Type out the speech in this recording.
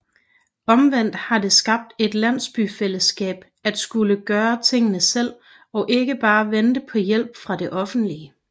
Omvendt har det skabt et landsbyfællesskab at skulle gøre tingene selv og ikke bare vente på hjælp fra det offentlige